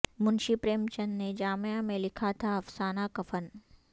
منشی پریم چند نے جامعہ میں لکھا تھا افسانہ کفن